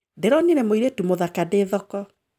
Ndĩronire mũirĩtu mũthaka ndĩ thoko